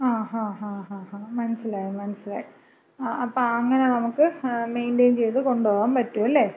ങാ, ങാ, മനസ്സിലായി മനസ്സിലായി. അപ്പോ അങ്ങന നമുക്ക് മെയിന്‍റയിൻ ചെയ്ത് കൊണ്ടുപോകാമ്പറ്റുവല്ലേ?